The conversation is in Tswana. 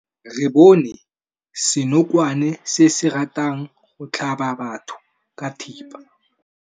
Re bone senokwane se se ratang go tlhaba batho ka thipa.